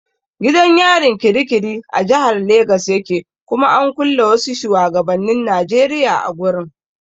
Gidan yarin kirikiri a jahar legas yake kuma an kulle wasu shuwagabannin Najeriya a gurin.